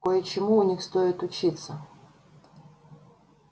кое-чему у них стоит учиться